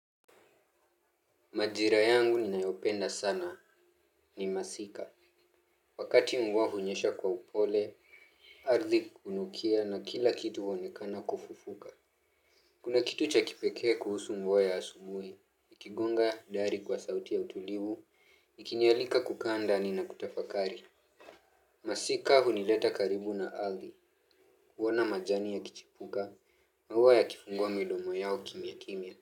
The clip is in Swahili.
Majira yangu ninayopenda sana ni masika, wakati mvua hunyesha kwa upole, ardhi hunukia na kila kitu huonekana kufufuka. Kuna kitu cha kipekee kuhusu mvua asubuhi, ikigonga dari kwa sauti ya utulivu, ikinialika kukaa ni na kutafakari. Masika hunileta karibu na ardhi, huona majani yakichipuka, maua yakifungua midomo yao kimya kimya.